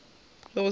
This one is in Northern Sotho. be go se na le